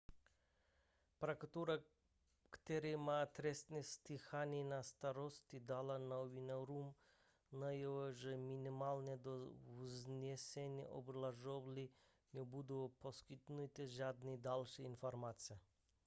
prokuratura která má trestní stíhání na starosti dala novinářům najevo že minimálně do vznesení obžaloby nebudou poskytnuty žádné další informace